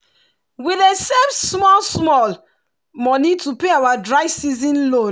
we dey save small small money to pay our dry season loan.